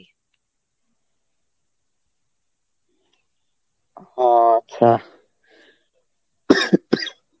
ও আচ্ছা.